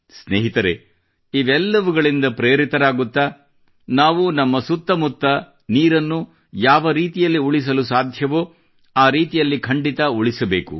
ಸ್ನೇಹಿತರೇ ಇವೆಲ್ಲವುಗಳಿಂದ ಪ್ರೇರಿತರಾಗುತ್ತಾ ನಾವು ನಮ್ಮ ಸುತ್ತ ಮುತ್ತ ನೀರನ್ನು ಯಾವರೀತಿಯಲ್ಲಿ ಉಳಿಸಲು ಸಾಧ್ಯವೋ ಆ ರೀತಿಯಲ್ಲಿ ಖಂಡಿತಾ ಉಳಿಸಬೇಕು